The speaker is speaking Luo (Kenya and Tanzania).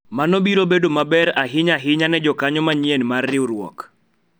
mano biro bedo maber ahinya ahinya ne jokanyo manyien mar riwruok